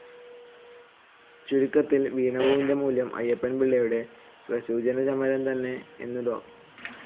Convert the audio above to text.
ചുരുക്കത്തിൽ വീണപൂവിന്റെ മൂലം അയ്യപ്പൻപിളളയുടെ പ്രസൂനചരമം തന്നെ എന്നു ഡോ.